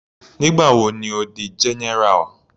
Nígbà wo ni Ó di general.